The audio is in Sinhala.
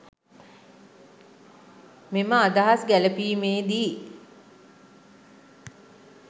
මෙම අදහස් ගැළැපීමේ දී